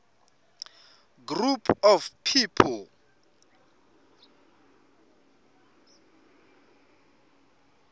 group of people